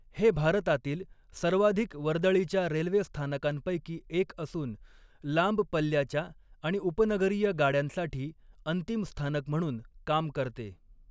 हे भारतातील सर्वाधिक वर्दळीच्या रेल्वे स्थानकांपैकी एक असून, लांब पल्ल्याच्या आणि उपनगरीय गाड्यांसाठी अंतिम स्थानक म्हणून काम करते.